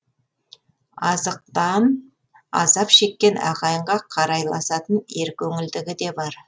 азықтан азап шеккен ағайынға қарайласатын еркөңілдігі де бар